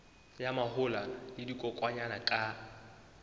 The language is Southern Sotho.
ya mahola le dikokwanyana ka